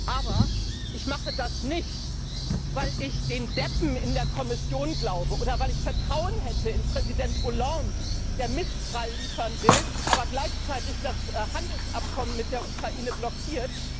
Aber ich mache das nicht, weil ich den Deppen in der Kommission glaube, oder weil ich Vertrauen hätte in Präsident Hollande, der Mistral liefern will, aber gleichzeitig das Handelsabkommen mit der Ukraine blockiert.